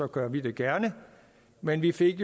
gør vi det gerne men vi fik